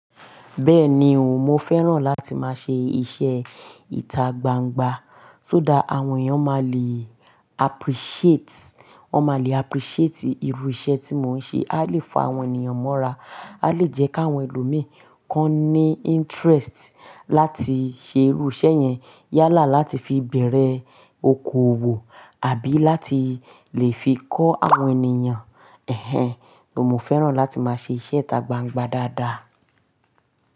Bẹ́ẹ̀ni o, mo fẹ́ràn láti máa ṣe iṣẹ́ ìtagbangba, tó dá àwọn èèyàn máa le appreciate, wọn máa le appreciate irú iṣẹ́ tí mò ń ṣe, a lè fa àwọn ènìyàn mọ́ra, a lè jẹ́ káwọn ẹlòmíi kan ní interest láti ṣe irú iṣẹ́ yẹn yálà láti fi bẹ̀rẹ̀ okoòwò àbí láti lè fi kọ́ àwọn ènìyàn. Ẹ̀hẹn, mo fẹ́ràn láti máa ṣe iṣẹ́ ìtagbangba dáadáa.